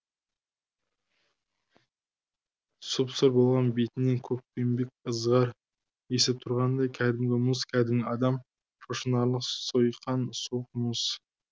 сұп сұр болған бетінен көкпеңбек ызғар есіп тұрғандай кәдімгі мұз кәдімгі адам шошынарлық сойқан суық мұз